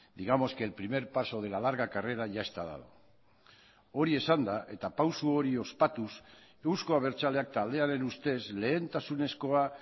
digamos que el primer paso de la larga carrera ya está dado hori esanda eta pauso hori ospatuz euzko abertzaleak taldearen ustez lehentasunezkoa